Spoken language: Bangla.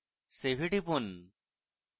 save এ টিপুন